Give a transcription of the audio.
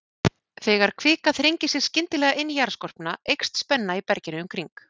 Þegar kvika þrengir sér skyndilega inn í jarðskorpuna, eykst spenna í berginu í kring.